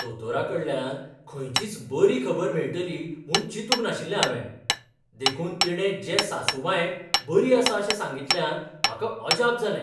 दोतोराकडल्यान खंयचीच बरी खबर मेळटली म्हूण चिंतूक नाशिल्लें हांवें, देखून तिणें जे सासूमांयक बरी आसा अशें सांगितल्यान म्हाका अजाप जालें.